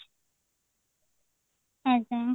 ଆଜ୍ଞା